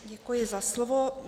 Děkuji za slovo.